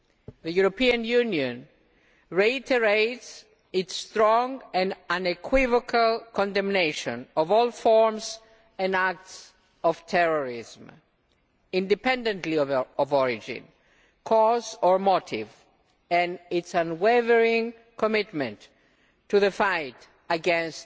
The European Union reiterates its strong and unequivocal condemnation of all forms and acts of terrorism irrespective of their origin, cause or motive and its unwavering commitment to the fight against